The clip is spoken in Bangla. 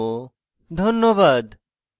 অংশগ্রহণের জন্য ধন্যবাদ